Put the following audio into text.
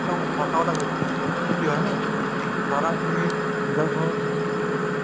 একদম সঁচা কথা কৈছো কিয়নো ধৰা তুমি নিজৰ ঘৰত নিজে খেতি কৰিলা